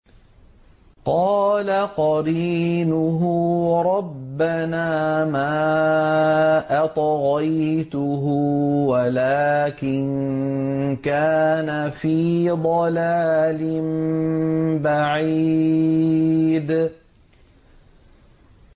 ۞ قَالَ قَرِينُهُ رَبَّنَا مَا أَطْغَيْتُهُ وَلَٰكِن كَانَ فِي ضَلَالٍ بَعِيدٍ